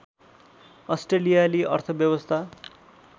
अस्ट्रेलियाली अर्थव्यवस्था